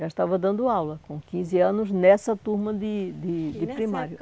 Já estava dando aula, com quinze anos, nessa turma de de de primário. E nessa época